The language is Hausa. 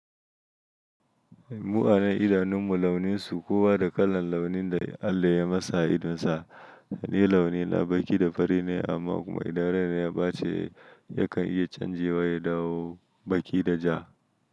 Mu'anan idanun mu launin su kowa da kalan launin da Allah ya masa idon sa. Ni launi na baki da fari ne amma kuma idan raina ya bace yakan iya canjewa ya dawo baki da ja.